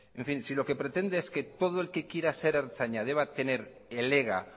en fin si lo que pretende defender es que todo el que quiera ser ertzaina deba tener el ega